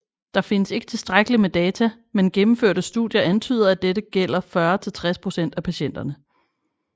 Der findes ikke tilstrækkeligt med data men gennemførte studier antyder at dette gælder 40 til 60 procent af patienterne